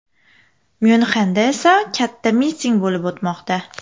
Myunxenda esa katta miting bo‘lib o‘tmoqda.